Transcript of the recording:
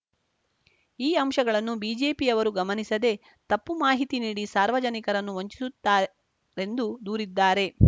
ಈ ಅಂಶಗಳನ್ನು ಬಿಜೆಪಿಯವರು ಗಮನಿಸದೇ ತಪ್ಪು ಮಾಹಿತಿ ನೀಡಿ ಸಾರ್ಜಜನಿಕರನ್ನು ವಂಚಿಸುತ್ತಾರೆಂದು ದೂರಿದ್ದಾರೆ